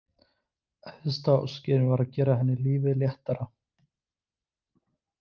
Æðsta óskin var að gera henni lífið léttara.